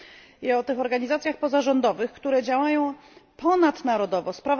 I w tych organizacjach pozarządowych, które działają ponadnarodowo, np.